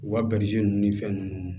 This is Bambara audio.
U ka ninnu ni fɛn ninnu